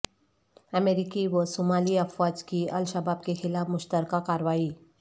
امریکی و صومالی افواج کی الشباب کے خلاف مشترکہ کارروائی